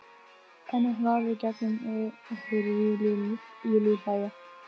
En hún horfir í gegnum mig- Heyri Júlíu hlæja.